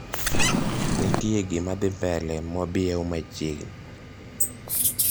Ntie gimadhii mbele mobiew machiegni